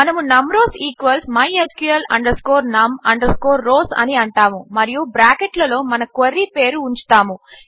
మనము num rows equals mysql num rows అని అంటాము మరియు బ్రాకెట్లలో మన క్వెరీ పేరు ఉంచుతాము